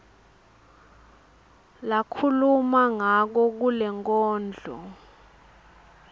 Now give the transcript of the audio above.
lakhuluma ngako kulenkondlo